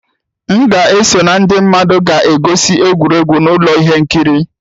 M ga-eso na ndị mmadụ na-egosi egwuregwu na ụlọ ihe nkiri.